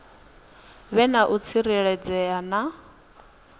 vhe na u tsireledzea na